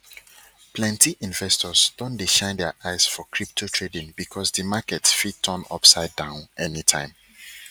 plenty investors don dey shine their eyes for crypto trading because di market fit turn upsidedown anytime